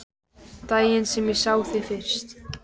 Daginn sem ég sá þig fyrst.